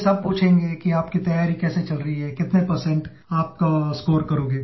That would definitely be useful for you